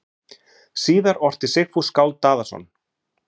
Síðar orti Sigfús skáld Daðason